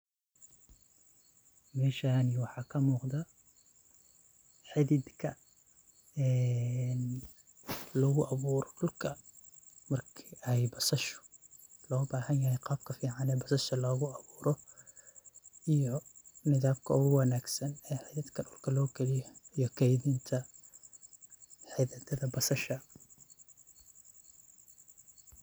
Meshan waxa ka muqdoh, xedidka een lagu abuuroh dulka marka ay basashu lo bahanyahay qaabku aay yacni lagu abuuroh eyo xededka ugu wangsan oo Hal Kali inta xeededka basashu.